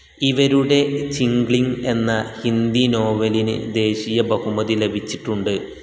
ഇവരുടെ ചിംഗ്ലിങ് എന്ന ഹിന്ദി നോവലിന് ദേശീയ ബഹുമതി ലഭിച്ചിട്ടുണ്ട്.